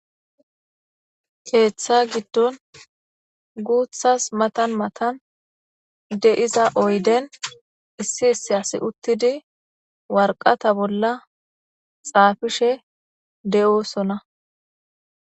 Keeththa giddon guuththas mathan mathan de7iza oyden issi issi asi uththidi warqatha bolla xaafishe de7oosona.